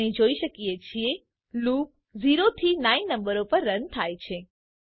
આપણે જોઈ શકીએ છીએ લૂપ 0 થી 9 નંબરો પર રન થાય છે